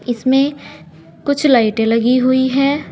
इसमे कुछ लाइटे लगी हुई हैं।